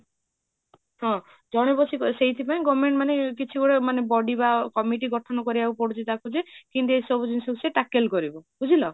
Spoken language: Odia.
ହଁ ଜଣେ ବଶ୍ୟକୀ ସେଇଠି ପାଇଁ government ମାନେ କିଛି ମାନେ body ବା committee ଗଠନ କରିବାକୁ ପଡୁଛି ତାକୁ ଯେ, କେମିତି ଏଇ ସବୁ ଜିନିଷ ସେ tackle କରିବ